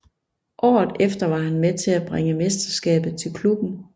Året efter var han med til at bringe mesterskabet til klubben